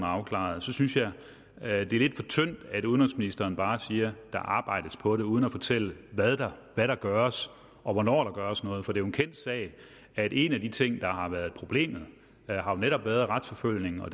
afklaret så synes jeg at det er lidt for tyndt at udenrigsministeren bare siger der arbejdes på det uden at fortælle hvad der der gøres og hvornår der gøres noget for det en kendt sag at en af de ting der har været et problem netop er retsforfølgningen og at